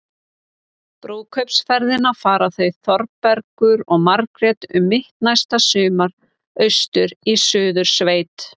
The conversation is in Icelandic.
Brúðkaupsferðina fara þau Þórbergur og Margrét um mitt næsta sumar- austur í Suðursveit.